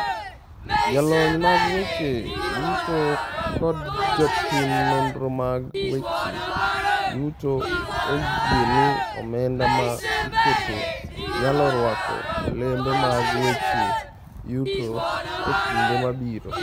Jolony mag weche yuto kod jotim nonro mag weche yuto oyie ni omenda ma iketo nyalo rwako olembe mag weche yuto e kinde mabiro.